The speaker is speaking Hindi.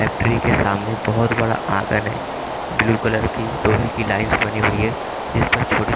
यफ ट्री के सामने बहोत बड़ा आंगन है ब्ल्यू कलर की लोहे की लाइंस बनी हुई है जिसपे छोटे--